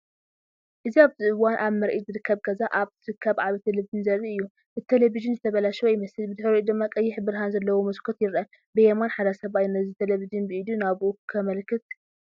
እዚ ኣብዚ እዋን ኣብ ምርኢት ዝርከብ ገዛ ኣብ ዝርከብ ዓቢ ቴሌቪዥን ዘርኢ እዩ። እቲ ቴሌቪዥን ዝተበላሸወ ይመስል፣ ብድሕሪኡ ድማ ቀይሕ ብርሃን ዘለዎ መስኮት ይርአ። ብየማን ሓደ ሰብኣይ ነቲ ቴሌቪዥን ብኢዱ ናብኡ ከመልክት ይርአ።